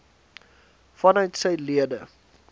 vanuit sy lede